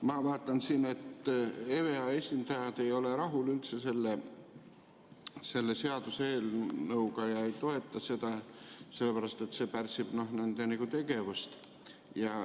Ma vaatan siin, et EVEA esindajad ei ole üldse rahul selle seaduseelnõuga ega toeta seda, seepärast et see pärsib nende tegevust.